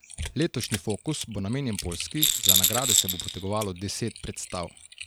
Letošnji Fokus bo namenjen Poljski, za nagrade se bo potegovalo deset predstav.